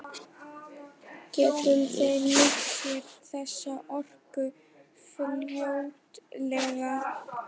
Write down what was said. Gætu þeir nýtt sér þessa orku fljótlega?